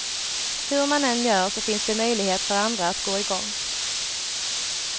Hur man än gör så finns det möjlighet för andra att gå i gång.